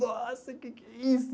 Nossa, o que é isso?